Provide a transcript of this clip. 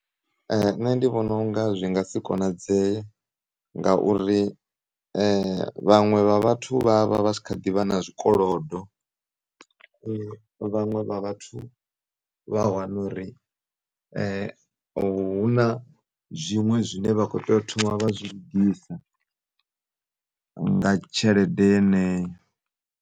Nṋe ndivhona unga zwi ngasi konadzeye ngauri vhaṅwe vha vhathu vha a vha vhatshi khaḓivha na zwikolo, vhaṅwe vha vhathu vha wanori huna zwiṅwe zwine vhakho teyo thoma vha zwi lugisa nga tshelede yeneyo.